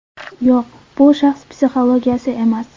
Yo‘q, bu shaxs psixologiyasi emas.